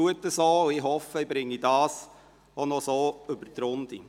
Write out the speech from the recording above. Ich hoffe, ich bringe diese auch noch über die Runden.